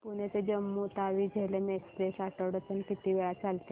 पुणे ते जम्मू तावी झेलम एक्स्प्रेस आठवड्यातून किती वेळा चालते